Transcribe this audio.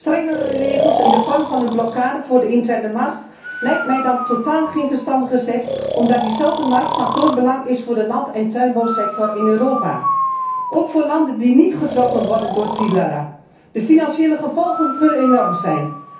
Strengere regels in de vorm van een blokkade voor de interne markt lijken mij dan totaal geen verstandige zet omdat diezelfde markt van groot belang is voor de land en tuinbouwsector in Europa, ook voor landen die niet getroffen worden door Xylella. De financiële gevolgen kunnen enorm zijn.